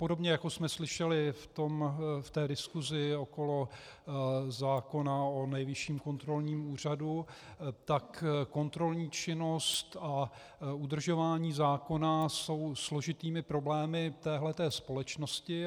Podobně jako jsme slyšeli v té diskusi okolo zákona o Nejvyšším kontrolním úřadu, tak kontrolní činnost a udržování zákona jsou složitými problémy téhle společnosti.